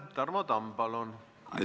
Tarmo Tamm, palun!